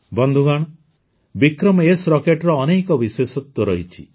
ବନ୍ଧୁଗଣ ବିକ୍ରମ୍ ଏସ୍ ରକେଟ୍ର ଅନେକ ବିଶେଷତ୍ୱ ରହିଛି